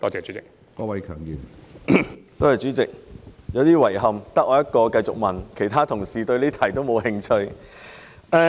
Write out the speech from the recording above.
主席，我感到有點遺憾，因為只有我一人繼續提問，其他同事對這項質詢沒有興趣。